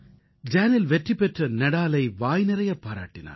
Daniil வெற்றி பெற்ற நாடாலை வாய்நிறையப் பாராட்டினார்